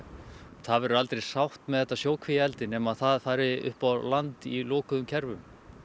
það verður aldrei sátt með þetta sjókvíaeldi nema það fari upp á landi í lokuðum kerfum